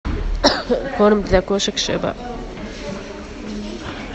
корм для кошек шеба